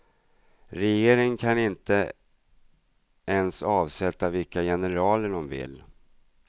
Regeringen kan inte ens avsätta vilka generaler de vill.